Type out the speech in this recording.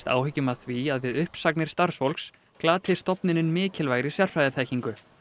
áhyggjum af því að við uppsagnir starfsfólks glati stofnunin mikilvægri sérfræðiþekkingu